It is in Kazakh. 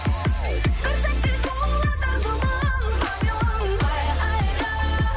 бір сәтте сұлуларды жылынтайын айхай